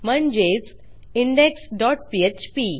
म्हणजेच indexपीएचपी